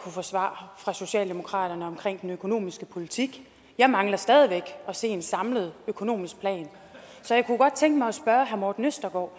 få svar fra socialdemokratiet om den økonomiske politik jeg mangler stadig væk at se en samlet økonomisk plan så jeg kunne godt tænke mig at spørge herre morten østergaard